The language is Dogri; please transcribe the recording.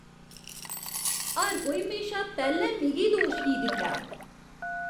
हर कोई म्हेशा पैह्लें मिगी दोश की दिंदा ऐ?